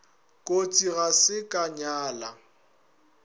kotsi ga se ka nyala